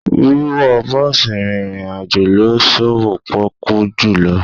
Wíwọ bọ́ọ̀sì rìnrìn àjò ló sowó pọ́kú jùlọ.